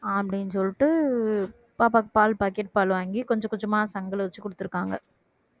அப்படீன்னு சொல்லிட்டு பாப்பாவுக்கு பால் pocket பால் வாங்கி கொஞ்சம் கொஞ்சமா சங்குல வச்சு குடுத்திருக்காங்க